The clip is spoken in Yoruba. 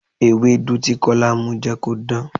Ewédú tí Kọ́lá mu jẹ́ kó dán.